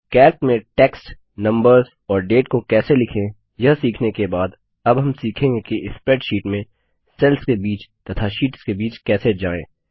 Calc में text numbers और date को कैसे लिखें यह सीखने के बाद अब हम सीखेंगे कि स्प्रैडशीट में सेल्स के बीच तथा शीट्स के बीच कैसे जाएँ